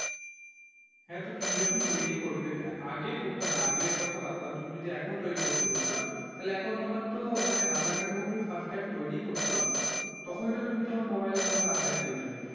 হ্যাঁ তো তুমি যখন তৈরি করবে আগে হতো না আগের কথা বাদ দাও তুমি যদি এখন তৈরি করবে বলছো তাহলে এখন তোমার তো মানে aadhaar card যখন তুমি fast time তৈরি করছো, তখনই তো তুমি তোমার mobile number update দিয়ে দেবে।